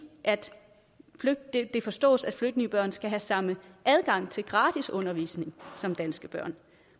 det forstås at flygtningebørn skal have samme adgang til gratis undervisning som danske børn